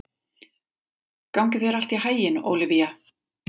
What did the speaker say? Gangi þér allt í haginn, Ólivía.